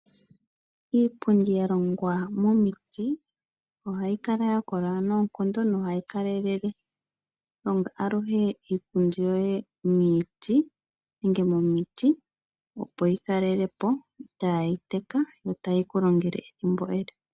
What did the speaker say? Iipundi ya longwa momiti ohayi kala ya kola noonkondo nohayi kalelele. Honga aluhe iipundi yoye momiti, opo yi kale po itaayi teka, yo tayi ku longele ethimbo ele.